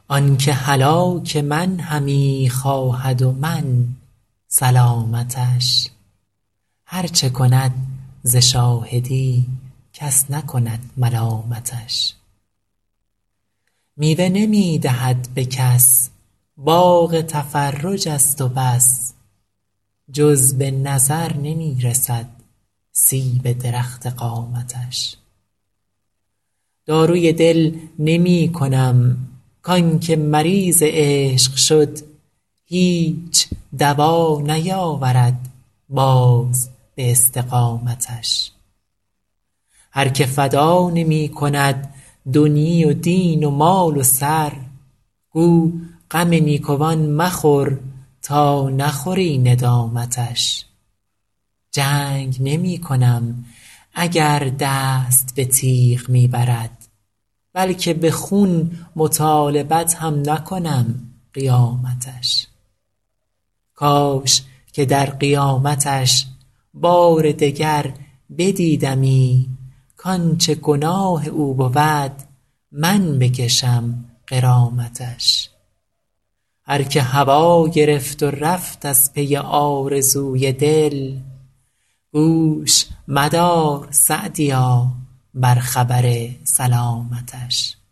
آن که هلاک من همی خواهد و من سلامتش هر چه کند ز شاهدی کس نکند ملامتش میوه نمی دهد به کس باغ تفرج است و بس جز به نظر نمی رسد سیب درخت قامتش داروی دل نمی کنم کان که مریض عشق شد هیچ دوا نیاورد باز به استقامتش هر که فدا نمی کند دنیی و دین و مال و سر گو غم نیکوان مخور تا نخوری ندامتش جنگ نمی کنم اگر دست به تیغ می برد بلکه به خون مطالبت هم نکنم قیامتش کاش که در قیامتش بار دگر بدیدمی کانچه گناه او بود من بکشم غرامتش هر که هوا گرفت و رفت از پی آرزوی دل گوش مدار _سعدیا- بر خبر سلامتش